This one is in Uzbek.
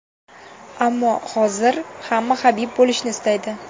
Ammo hozir hamma Habib bo‘lishni istaydi.